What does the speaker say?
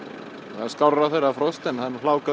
það er skárra þegar það er frost en það er hláka